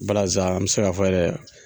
Balazan an bɛ se ka fɔ yɛrɛ.